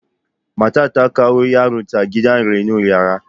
Matar ta kawo yaronta gidan renon yara.